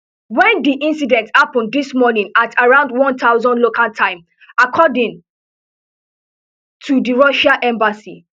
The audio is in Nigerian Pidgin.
when di incident happun dis morning at around one thousand local time according to di russian embassy